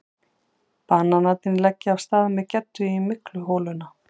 Bananarnir leggja af stað með Geddu í mygluholuna.